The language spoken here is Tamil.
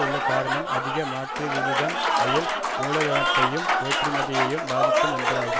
உள்ள காரணம் அதிக மாற்றுவிகிதம் அயல் மூலதனத்தையும் ஏற்றுமதியையும் பாதிக்கும் என்பதால்தான்